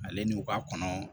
Ale n'u ka kɔnɔ